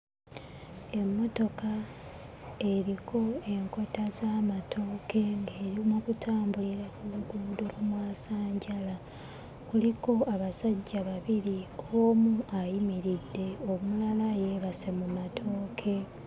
Emmotoka eriko enkota z'amatooke ng'eri mu kutambulira ku luguudo ku mwasanjala. Kuliko abasajja babiri omu ayimiridde omulala yeebase mu matooke.